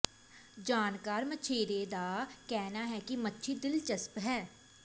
ਜਾਣਕਾਰ ਮਛੇਰੇ ਦਾ ਕਹਿਣਾ ਹੈ ਕਿ ਮੱਛੀ ਦਿਲਚਸਪ ਹੈ